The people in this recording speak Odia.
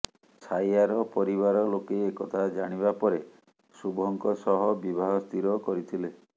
ଛାୟାର ପରିବାର ଲୋକେ ଏକଥା ଜାଣିବା ପରେ ଶୁଭଙ୍କ ସହ ବିବାହ ସ୍ଥିର କରିଥିଲେ